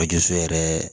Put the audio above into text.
yɛrɛ